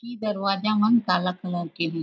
की दरवाजा मन काला कलर के हे।